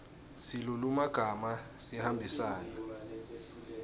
silulumagama sihambisana